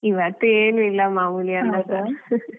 ಇವತ್ತು ಏನಿಲ್ಲಾ ಮಾಮೂಲಿ ಅನ್ನಸಾರು .